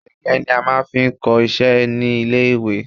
Gègé ni a máa fi ń kọ iṣẹ́ ní ilé-ìwé